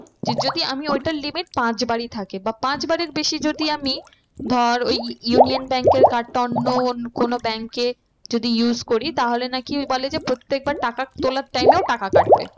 যে যদি আমি ওইটার limit পাঁচ বারই থাকে বা পাঁচ বারের বেশি যদি আমি ধর ওই union bank এর card টা অন্য কোনো bank এ যদি use করি তাহলে নাকি ওই বলে যে প্রত্যেকবার টাকা তোলার time এও টাকা কাটবে।